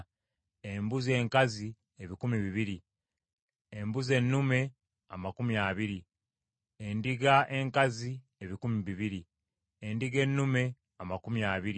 embuzi enkazi ebikumi bibiri, embuzi ennume amakumi abiri, endiga enkazi ebikumi bibiri, endiga ennume amakumi abiri,